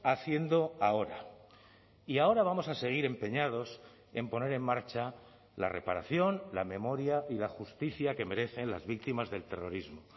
haciendo ahora y ahora vamos a seguir empeñados en poner en marcha la reparación la memoria y la justicia que merecen las víctimas del terrorismo